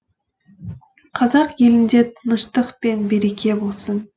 қазақ елінде тыныштық пен береке болсын